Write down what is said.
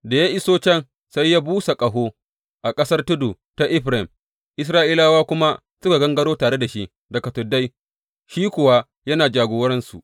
Da ya iso can, sai ya busa ƙaho a ƙasar tudu ta Efraim, Isra’ilawa kuma suka gangaro tare da shi daga tuddai, shi kuwa yana jagorarsu.